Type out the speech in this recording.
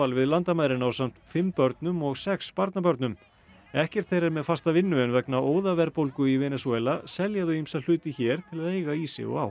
við landamærin ásamt fimm börnum og sex barnabörnum ekkert þeirra er með fasta vinnu en vegna óðaverðbólgu í Venesúela selja þau ýmsa hluti hér til að eiga í sig og á